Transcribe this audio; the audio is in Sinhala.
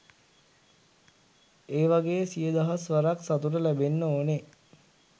ඒ වගේ සිය දහස් වරක් සතුට ලැබෙන්න ඕන.